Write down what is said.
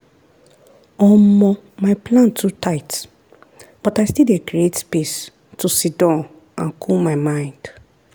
omo my plan too tight but i still dey create space to siddon and cool my mind.